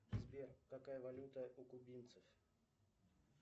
сбер какая валюта у кубинцев